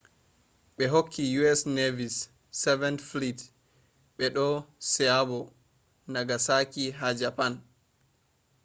be hokki u.s. navy`s seventh fleet be do seabo nagasaki ha japan